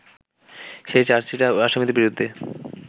সেই চার্জশিটে আসামীদের বিরুদ্ধে